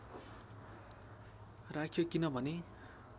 राख्यो किन भने